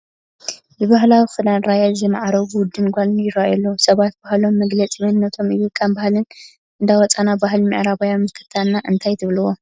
ብባህላዊ ክዳን ራያ ዝማዕረጉ ወድን ጓልን ይርአዩ ኣለዉ፡፡ ሰባት ባህሎም መግለፂ መንነቶም እዩ፡፡ ካብ ባህልና እንዳወፃእና ባህሊ ምዕራባውያን ምኽታልና እንታይ ትብልዎ?